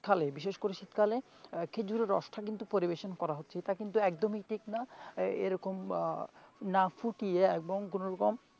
শীতকালে বিশেষ করে শীতকালে খেজুরের রসটা পরিবেশন করা হচ্ছে এটা কিন্তু একদমই ঠিক না এরকম না ফুটিয়ে এবং কোনো রকম,